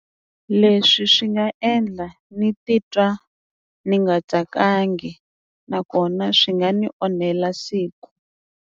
Leswi swi nga endla ni titwa ni nga tsakangi nakona swi nga ni onhela siku.